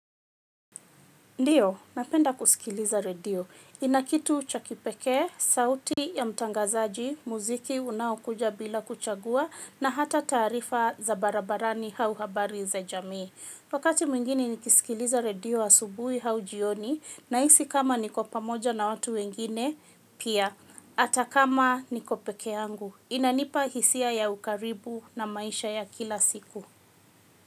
Ndiyo, napenda kusikiliza radio. Ina kitu cha kipekee, sauti ya mtangazaji, muziki, unaokuja bila kuchagua, na hata taarifa za barabarani au habari za jamii. Wakati mwingine nikisikiliza redio asubuhi au jioni, nahisi kama niko pamoja na watu wengine, pia, hata kama niko peke yangu. Inanipa hisia ya ukaribu na maisha ya kila siku.